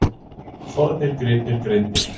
Fornir gripir greindir